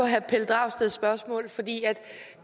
herre pelle dragsteds spørgsmål for det er